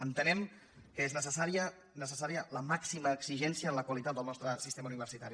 entenem que és necessària la màxima exigència en la qualitat del nostre sistema universitari